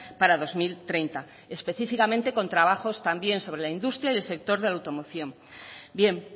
para dos mil treinta específicamente con trabajos también sobre la industria y el sector de la automoción bien